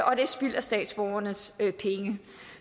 og det er spild af statsborgernes penge